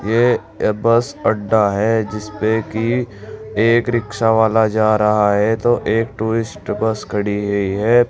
ये बस अड्डा है जिसपे कि एक रिक्शा वाला जा रहा है तो एक टूरिस्ट बस खड़ी हुई है।